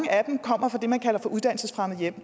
kommer fra det man kalder uddannelsesfremmede hjem